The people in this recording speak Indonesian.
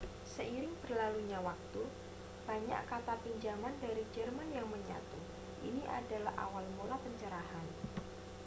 seiring berlalunya waktu banyak kata pinjaman dari jerman yang menyatu ini adalah awal mula pencerahan